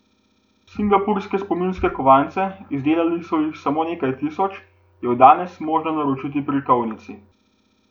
Singapurske spominske kovance, izdelali so jih samo nekaj tisoč, je od danes možno naročiti pri kovnici.